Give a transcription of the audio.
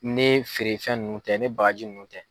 Ni feerefɛn nun tɛ ni bagaji nun tɛ.